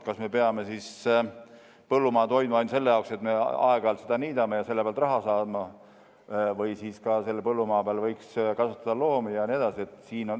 Kas me peame põllumaad hoidma ainult selleks, et me aeg-ajalt seda niidame ja selle pealt raha saame, või võiks seal põllumaa peal kasvatada ka loomi jne?